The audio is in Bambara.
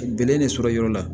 Gɛnɛ de sɔrɔ yɔrɔ la